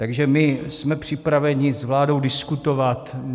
Takže my jsme připraveni s vládou diskutovat.